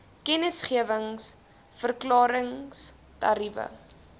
kennisgewings verklarings tariewe